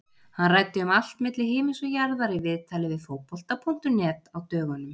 Hann ræddi um allt milli himins og jarðar í viðtali við Fótbolta.net á dögunum.